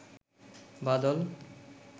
বাদল